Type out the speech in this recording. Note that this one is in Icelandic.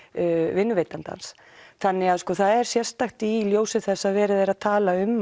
vinnuveitandans þannig að það er sérstakt í ljósi þess að verið er að tala um